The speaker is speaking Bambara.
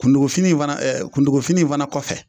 kuntugufini in fana ɛ kuntugufini in fana kɔfɛ